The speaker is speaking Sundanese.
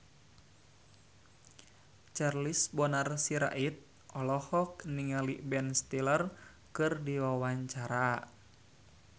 Charles Bonar Sirait olohok ningali Ben Stiller keur diwawancara